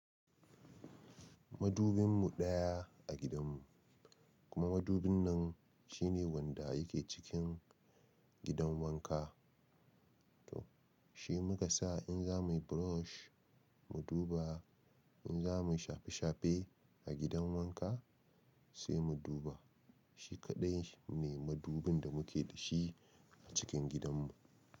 Madubin mu daya a gidan mu kuma madubin nan shine wanda yake cikin gidan wanka. To shi muka sa in za muyi brush mu duba, in za muyi shafe shafe a gidan wanka sai mu duba. Shi kaɗai ne madubin da muke da shi a cikin gidan mu.